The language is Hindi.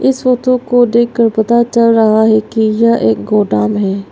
इस फोटो को देख कर पता चल रहा है कि यह एक गोदाम है।